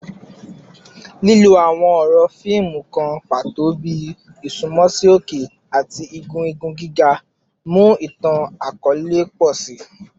Lilo awọn ọrọ fiimu kan pato bi “isunmọ si oke” ati “igun igun giga” mu itan-akọọlẹ pọ si.